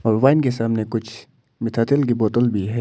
और वाइन के सामने कुछ की बोतल भी है।